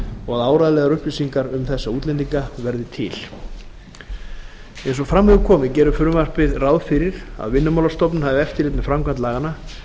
og að áreiðanlegar upplýsingar um þessa útlendinga verði til eins og fram hefur komið gerir frumvarpið ráð fyrir að vinnumálastofnun hafi eftirlit með framkvæmd laganna